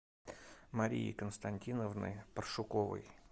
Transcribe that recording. марии константиновны паршуковой